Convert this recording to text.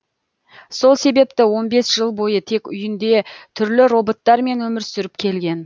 сол себепті он бес жыл бойы тек үйінде түрлі роботтар мен өмір сүріп келген